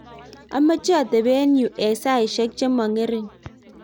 amache atebe yu eng saishe che mo ngering.